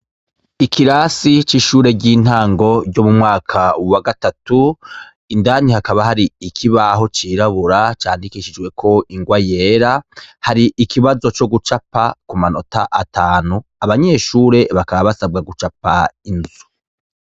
Ikirasi c'ishure ry'intango ryo mu mwaka wa gatatu, indani hakaba hari ikibaho cirabura candikijweko ingwa yera, hari ikibazo co gucapa ku manota atanu. Abanyeshure, bakaba basabwa inzu.